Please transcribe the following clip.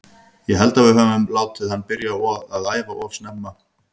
Ég held að við öfum látið hann byrja að æfa of snemma að æfa.